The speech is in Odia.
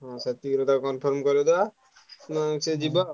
ହୁଁ ସେତିକରେ ତାକୁ confirm କରେଇଦବା ନା ସିଏ ଯିବ।